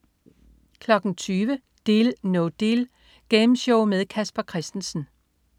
20.00 Deal No Deal. Gameshow med Casper Christensen